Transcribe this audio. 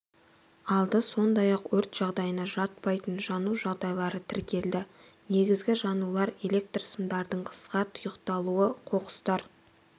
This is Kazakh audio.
алды сондай-ақ өрт жағдайына жатпайтын жану жағдайлары тіркелді негізгі жанулар электр сымдардың қысқа тұйықталуы қоқыстар